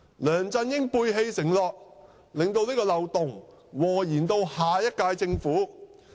梁振英背棄承諾，令漏洞禍延下屆政府。